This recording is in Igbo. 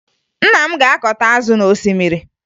Nna m ga-akọta azụ n'osimmiri